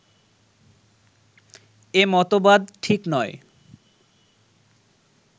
এ মতবাদ ঠিক নয়